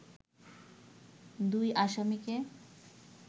দুই আসামিকে